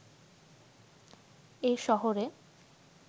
এ শহরে